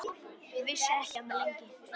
Vissi ekki af mér, lengi.